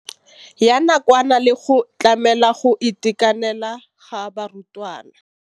ya nakwana le go tlamela go itekanela ga barutwana.